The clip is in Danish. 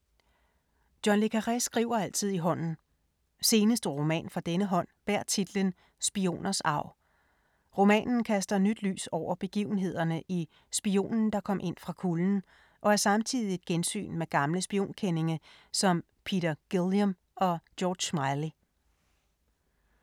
John le Carré skriver altid i hånden. Seneste roman fra denne hånd bærer titlen Spioners arv. Romanen kaster nyt lys over begivenhederne i "Spionen der kom ind fra kulden" og er samtidig et gensyn med gamle spionkendinge som Peter Guilliam og George Smiley.